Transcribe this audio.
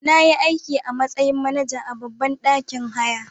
Nayi aiki a matsayin manaja a babban ɗakin haya.